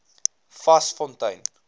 vasfontein